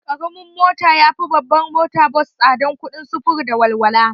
Karamin mota yafi babbar mota bas tsadan kuɗin sufuru da walwala